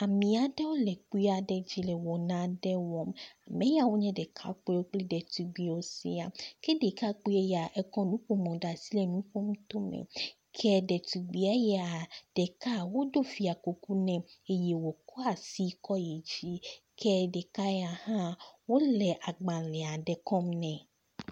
Ame aɖewo le kpui aɖe dzi le wɔ nane wɔm. ame yawo nye ɖekakpuiwo kple ɖetugbiwo sia ke ɖekakpui ya ekɔ nuƒomɔ ɖe asi enu ƒom to eme ke ɖetugbi ya ɖeka woɖo fiakuku nɛ eye wokɔ asi kɔ yi dzi ke ɖeka ya hã wo le agbale aɖe kɔm nɛ.